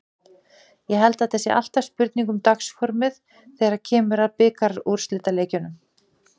Ég held að þetta sé alltaf spurning um dagsformið þegar kemur að bikarúrslitaleikjum.